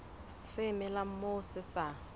se melang moo se sa